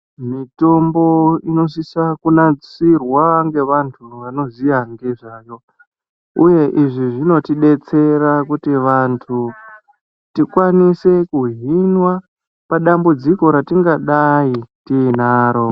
Mitombo inosise kunasirwa ngevanu vanoziya ngezvayo uye izvi zvinotidetsera kuti vantu tikwanise kuhinwa padambudziko ratingadai tinaro.